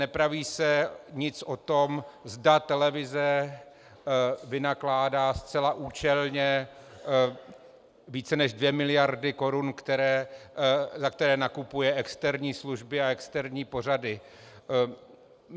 Nepraví se nic o tom, zda televize vynakládá zcela účelně více než dvě miliardy korun, za které nakupuje externí služby a externí pořady.